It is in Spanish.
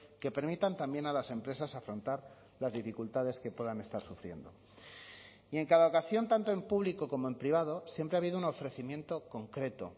que permitan también a las empresas afrontar las dificultades que puedan estar sufriendo y en cada ocasión tanto en público como en privado siempre ha habido un ofrecimiento concreto